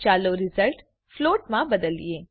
ચાલો result float માં બદલીએ